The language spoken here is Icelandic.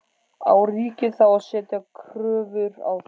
Á ríkið þá að setja kröfur á þau?